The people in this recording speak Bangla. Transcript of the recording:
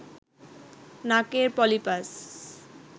নাকের পলিপাস